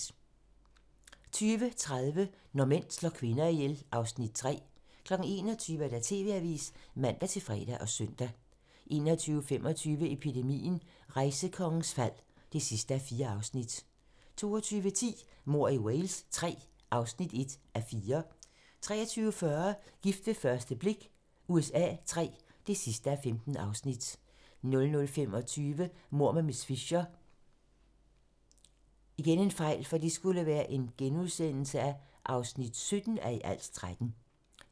20:30: Når mænd slår kvinder ihjel (Afs. 3) 21:00: TV-avisen (man-fre og søn) 21:25: Epidemien - Rejsekongens fald (4:4) 22:10: Mord i Wales III (1:4) 23:40: Gift ved første blik USA III (15:15) 00:25: Mord med miss Fisher (17:13)*